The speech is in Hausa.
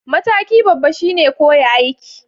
Mataki babba shine koya aiki